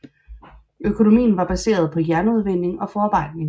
Økonomien er baseret på jernudvinding og forarbejdning